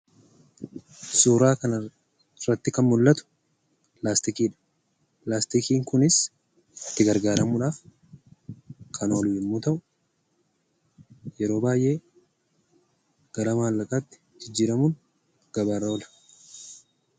Suuraa kanarratti kan mul'atu 'Pilaastikii' dha. Pilaastikiin kunis itti gargaaramuudhaaf kan oolu yommuu ta'u, yeroo baay'ee gara maallaqaatti jijjiiramuudhaan gabaarra oolu.